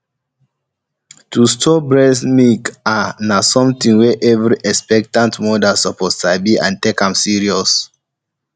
to store breast milk ah na something wey every expectant mother suppose sabi and take am seriously